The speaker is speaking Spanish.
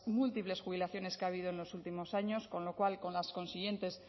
múltiples jubilaciones que ha habido en los últimos años con lo cual con las consiguientes